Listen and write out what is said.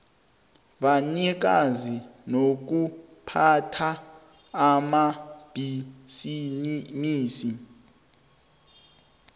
banikazi nokuphatha amabhisimisi